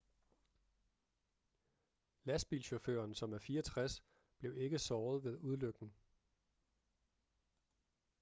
lastbilchaufføren som er 64 blev ikke såret ved ulykken